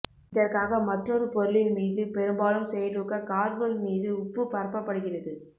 இதற்காக மற்றொரு பொருளின் மீது பெரும்பாலும் செயலூக்க கார்பன் மீது உப்பு பரப்பப்படுகிறது